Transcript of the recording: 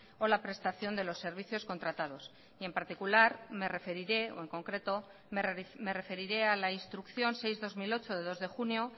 o la prestación de los servicios contratados y en particular me referiré o en concreto me referiré a la instrucción seis barra dos mil ocho de dos de junio